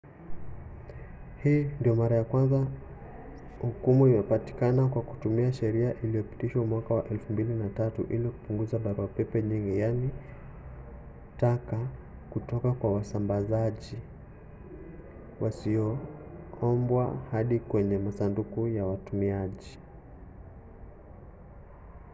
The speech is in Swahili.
hii ndio mara ya kwanza hukumu imepatikana kwa kutumia sheria iliyopitishwa mwaka wa 2003 ili kupunguza barua-pepe nyingi yaani taka kutoka kwa wasambazaji wasioombwa hadi kwenye masanduku ya watumiaji